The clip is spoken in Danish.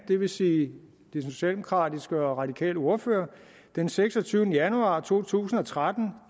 det vil sige den socialdemokratiske og radikale ordfører den seksogtyvende januar to tusind og tretten